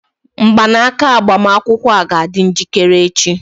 Mgbanaka agbamakwụkwọ a ga-adị njikere echi?